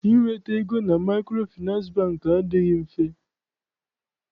Inweta ego na Maịkrofịnansị Bankị adịghị mfe.